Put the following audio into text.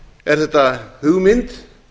er þetta hugmynd